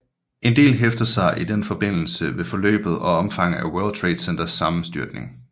En del hæfter sig i den forbindelse ved forløbet og omfanget af World Trade Centers sammenstyrtning